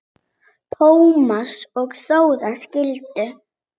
Tómas og Þóra skildu.